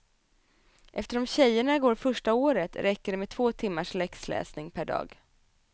Eftersom tjejerna går första året räcker det med två timmars läxläsning per dag.